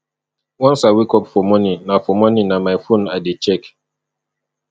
once i wake up for morning na for morning na my phone i dey check